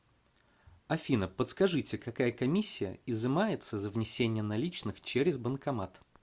афина подскажите какая комиссия изымается за внесение наличных через банкомат